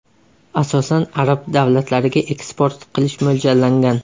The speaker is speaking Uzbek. Asosan, arab davlatlariga eksport qilish mo‘ljallangan.